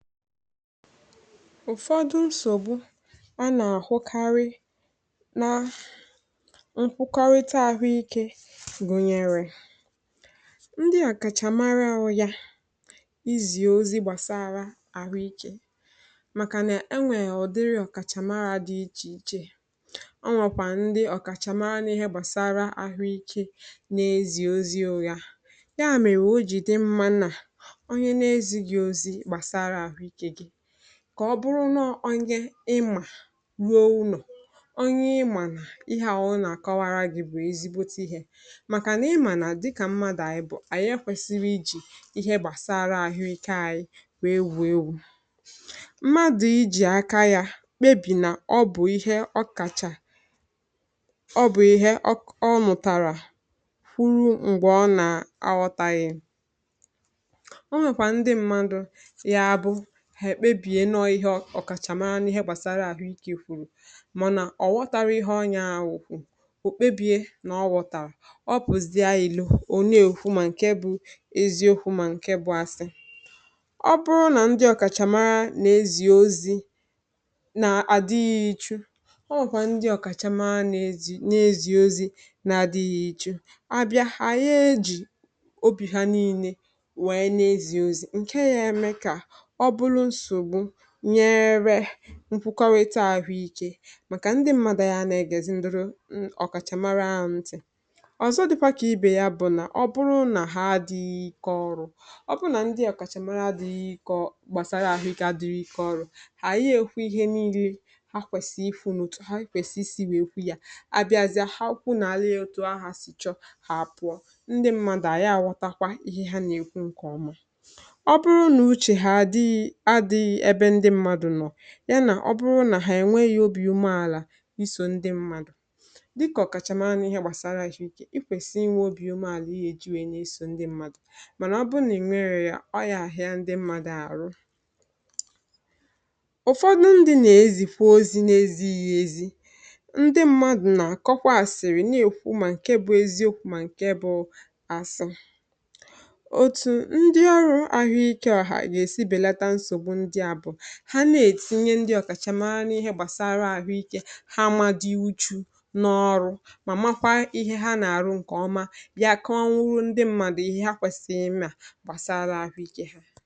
ụ̀fọdụ nsògbu ọ nà-àhụkarị na nkwukarita àhụ ikė, gụ̀nyèrè ndị àkàchàmara ahụ̇ yà izì ozi gbàsara àhụ ikė, màkà nà enwèè ọ̀dịrị ọ̀kàchàmara dị ichèichè. ọ nwàkwà ndị ọ̀kàchàmara nà ihe gbàsara àhụ ikė n’ezi ozi ụ̇gȧ yà, um mèrè ojì dị mma nà kà ọ bụrụ n’onye ịmà ruo unò onye ịmà, nà ihe àhụ nà-àkọwara gi̇ bụ̀ ezigbote ihė, màkà nà ịmà nà dịkà mmadụ̀ ànyị bụ̀ ànyị, ekwesiri ijì ihe gbàsara àhụikėghi gwè ewu̇ ewu̇ mmadụ̀ ijì aka ya kpebì nà ọ bụ̀ ihe ọ kàchà, ọ bụ̀ ihe ọ nụ̀tàrà uru. ṁgbè ọ nà-awọtaghị ha, èkpebihe nọọ ihe ọ̀kàchàmara na ihe gbàsara àhụ iki̇ kwụ̀rụ̀, mànà ọ̀wọtarȧ ihe ọnyȧ awụ̀kwụ̀ ò kpebie nà ọgwọ̀tàra ọ bụ̀zie ilȯ ole, è okwu mà ǹke bụ̇ ezi okwu, mà ǹke bụ̇ asị. ọ bụrụ nà ndị ọ̀kàchàmara na-ezì ozi̇ nà-àdighị ichu̇, ọ wụ̀kwà ndị ọ̀kàchàmara na-ezì ozi̇ na-adịghị ichù, àbịa hà ya ejì obì ha niile wèe na-ezì ozì ǹke yȧ, eme kà nyere nkwukọwịtọ àhụike, màkà ndị m̀madụ̇ ya nà-egèzi nduru, um ọ̀kàchàmara ha ntì. ọ̀zọ dị̇kwà kà ibè ya bụ̀ nà ọ bụrụ nà ha dịghị ike ọrụ̇, ọ bụrụ nà ndị àhụike àkàchàmara dịghị ike, ọ gbàsara àhụike adịrị ike ọrụ̇. hà ànyị ekwu ihe niile ha kwèsì ịfụ̇ n’ụtụ̀, ha kwèsì isi wèe kwụ̇ ya, abịazịa ha okwu nà alịghị otu, ahà sichọ hà apụ̀ọ. ndị m̀madụ̇ anyị àwọtakwa ihe ha nà-ekwu, ṅkè ọmụ̇ yà nà ọ bụrụ nà hà ènweghị̇ obi̇ umėàlà isò ndị mmadụ̀, dịkọ̀ kàchàmànụ̀ ihe gbàsara ìke, i kwèsi inwe obi̇ umėàlà, i yà èji wèe na-esò ndị mmadụ̀. mànà ọ bụrụ nà ẹ̀mẹrẹ yȧ, ọ yà àhịá, ndị mmadụ̇ àrụ ụ̀fọdụ ndị̇ nà èzìkwu ozi̇ na ezi̇ghi̇ èzi, ndị mmadụ̀ nà àkọkwa àsịrị, na-èkwu mà ǹke bụ̇ eziokwu̇ mà ǹke bụ̇ asọ̇. ha na-ètinye ndị ọ̀kàchàmàarị ihe gbàsara àhụikė ha, màdị wụ̀chù n’ọrụ, mà makwaa ihe ha nà-àrụ, ǹkè ọma, bịa kụọ ọnwụrụ ndị mmadụ ihe ha kwèsìrì mmịa gbàsara àhụikė ha.